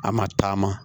A ma taama